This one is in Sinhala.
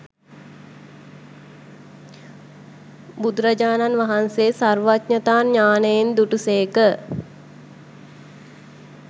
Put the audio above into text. බුදුරජාණන් වහන්සේ සර්වඥතා ඥානයෙන් දුටුසේක.